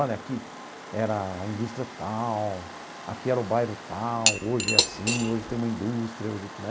Olha, aqui era a indústria tal, aqui era o bairro tal, hoje é assim, hoje tem uma indústria, hoje né?